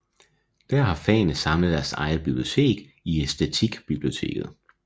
Her har fagene samlet deres eget bibliotek i Æstetikbiblioteket